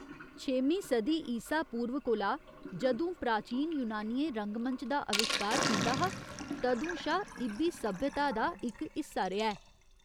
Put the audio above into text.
छेमीं सदी ईसा पूर्व कोला, जदूं प्राचीन यूनानियें रंगमंच दा अविश्कार कीता हा, तदूं शा इ'ब्बी सभ्यता दा इक हिस्सा रेहा ऐ।